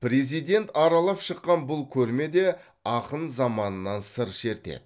президент аралап шыққан бұл көрме де ақын заманынан сыр шертеді